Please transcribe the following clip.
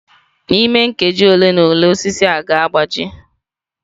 N'ime nkeji ole na ole, osisi ga-agbaji.